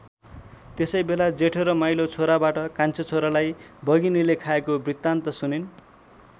त्यसैबेला जेठो र माहिलो छोराबाट कान्छो छोरालाई बघिनीले खाएको वृत्तान्त सुनिन्।